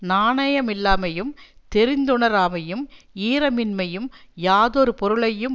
நாணயமில்லாமையும் தெரிந்துணராமையும் ஈரமின்மையும் யாதொரு பொருளையும்